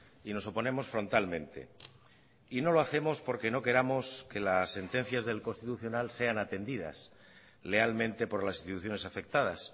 y nos oponemos frontalmente y no lo hacemos porque no queramos que las sentencias del constitucional sean atendidas lealmente por las instituciones afectadas